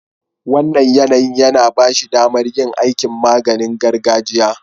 Wannan yanayin ya ba shi damar yin aikin maganing gargajiya.